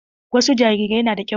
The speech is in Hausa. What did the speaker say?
Wasu jarirai na da ƙiba.